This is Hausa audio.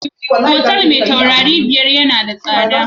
Hotel me tauraro biyar na da tsada